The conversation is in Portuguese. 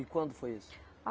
E quando foi isso?